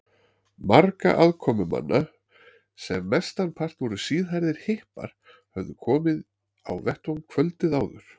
Margir aðkomumanna, sem mestanpart voru síðhærðir hippar, höfðu komið á vettvang kvöldið áður.